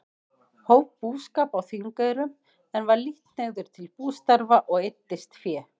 Hóf búskap á Þingeyrum, en var lítt hneigður til bústarfa og eyddist fé.